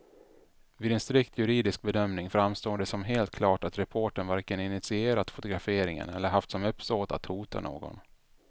Vid en strikt juridisk bedömning framstår det som helt klart att reportern varken initierat fotograferingen eller haft som uppsåt att hota någon.